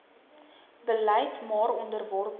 beleid maar onderworpe